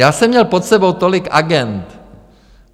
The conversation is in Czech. Já jsem měl pod sebou tolik agend.